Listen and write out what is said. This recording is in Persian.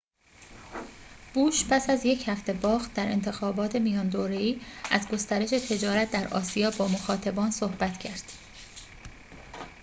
بوش پس از یک هفته باخت در انتخابات میان دوره‌ای از گسترش تجارت در آسیا با مخاطبان صحبت کرد